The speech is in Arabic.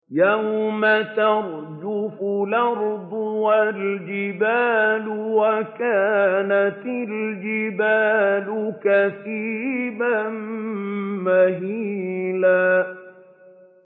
يَوْمَ تَرْجُفُ الْأَرْضُ وَالْجِبَالُ وَكَانَتِ الْجِبَالُ كَثِيبًا مَّهِيلًا